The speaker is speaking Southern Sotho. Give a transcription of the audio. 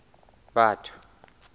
batho